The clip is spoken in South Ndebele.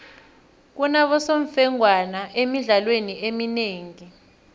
kunabosemfengwana emidlalweni eminengi